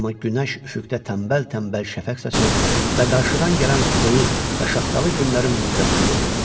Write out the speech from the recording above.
Amma günəş üfüqdə tənbəl-tənbəl şəfəq saçır və qarşıdan gələn soyuq və şaxtalı günlərin müjdəsini verirdi.